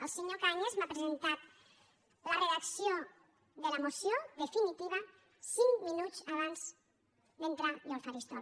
el senyor cañas m’ha presentat la redacció de la moció definitiva cinc minuts abans d’entrar jo al faristol